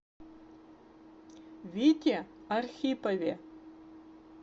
вите архипове